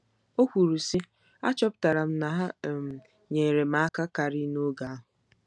O kwuru, sị: “ Achọpụtara m na ha um nyeere m aka karị n'oge ahụ.